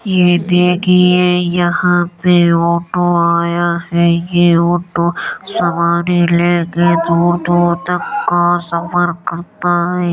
ये देखिये यहाँ पे ऑटो आया है। ये ऑटो सवारी लेके दूर-दूर तक का सफर करता है।